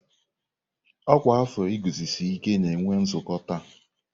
Ọkwa afọ iguzosi ike na-enwe nzukọ taa.